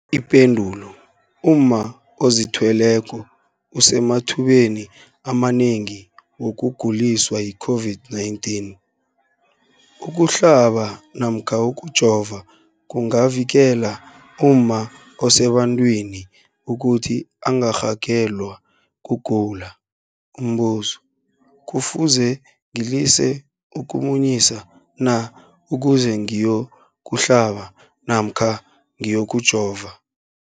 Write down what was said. Ipendulo, umma ozithweleko usemathubeni amanengi wokuguliswa yi-COVID-19. Ukuhlaba namkha ukujova kungavikela umma osebantwini ukuthi angarhagalelwa kugula. Umbuzo, kufuze ngilise ukumunyisa na ukuze ngiyokuhlaba namkha ngiyokujova?